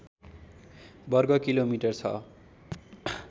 वर्गकिलोमिटर छ